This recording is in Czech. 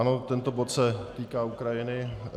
Ano, tento bod se týká Ukrajiny.